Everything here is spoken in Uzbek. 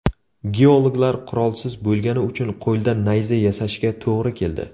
Geologlar qurolsiz bo‘lgani uchun qo‘lda nayza yasashga to‘g‘ri keldi.